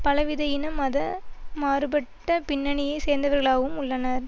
பலவித இன மத மாறுபட்ட பின்னணியை சேர்ந்தவர்களாவும் உள்ளனர்